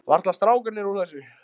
Varla strákarnir úr þessu.